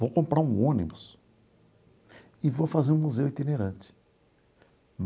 Vou comprar um ônibus e vou fazer um museu itinerante.